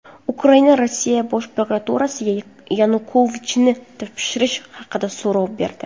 Ukraina Rossiya Bosh prokuraturasiga Yanukovichni topshirish haqida so‘rov berdi.